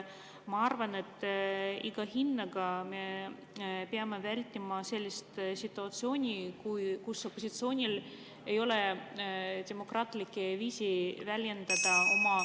Ma arvan, et me peame iga hinna eest vältima sellist situatsiooni, kus opositsioonil ei ole demokraatlikke viise väljendada oma …